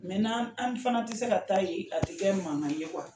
n'an an fana tɛ se ka taa yen a tɛ kɛ mankan ye